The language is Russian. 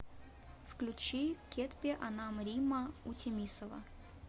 включи кетпе анам римма утемисова